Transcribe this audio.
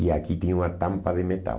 E aqui tinha uma tampa de metal.